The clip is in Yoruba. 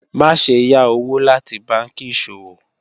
Maṣe yá owo lati bánkì iṣọwọ́